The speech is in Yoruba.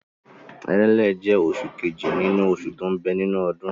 Èrèlé jẹ́ oṣù kejì nínú oṣù tó ń bẹ nínú ọdún.